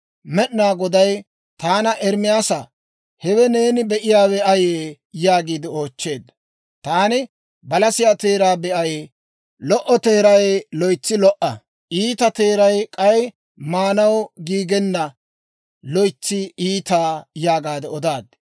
Med'inaa Goday taana, «Ermaasaa, hewe neeni be'iyaawe ayee?» yaagiide oochcheedda. Taani, «Balasiyaa teeraa be'ay. Lo"o teeray loytsi lo"a; iita teeray k'ay maanaw giigenna loytsi iita» yaagaade odaad.